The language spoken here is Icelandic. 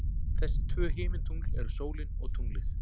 Þessi tvö himintungl eru sólin og tunglið.